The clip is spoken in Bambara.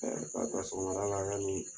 ka ta sɔgɔmada la ya ni